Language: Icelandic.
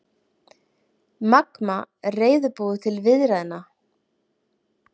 Magma reiðubúið til viðræðna